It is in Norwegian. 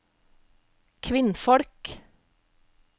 kvinnfolk